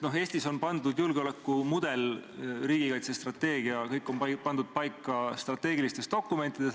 No Eestis on julgeolekumudel ja riigikaitsestrateegia kõik pandud paika strateegilistes dokumentides.